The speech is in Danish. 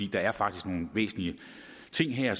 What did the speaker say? der er faktisk nogle væsentlige ting her